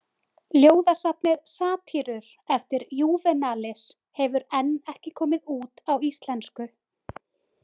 Ljóðasafnið Satírur eftir Júvenalis hefur enn ekki komið út á íslensku.